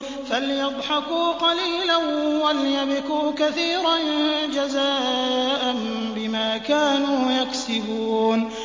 فَلْيَضْحَكُوا قَلِيلًا وَلْيَبْكُوا كَثِيرًا جَزَاءً بِمَا كَانُوا يَكْسِبُونَ